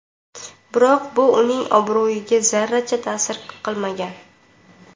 Biroq bu uning obro‘yiga zarracha ta’sir qilmagan.